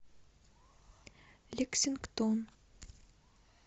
лексингтон